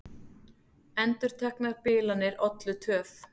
Endurteknar bilanir ollu töf